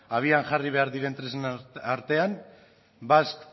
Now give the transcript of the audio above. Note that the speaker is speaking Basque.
abian jarri behar diren tresna artean basque